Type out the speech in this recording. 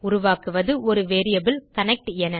உருவாக்குவது ஒரு variable connect என